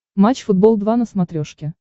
матч футбол два на смотрешке